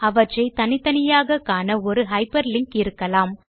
அவற்றை தனித்தனியாக காண ஒரு ஹைப்பர் லிங்க் இருக்கலாம்